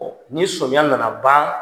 Ɔ ni sɔmiya nana ban.